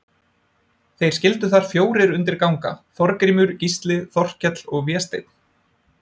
Þeir skyldu þar fjórir undir ganga, Þorgrímur, Gísli, Þorkell og Vésteinn.